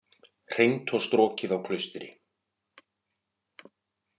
Hreint og strokið á Klaustri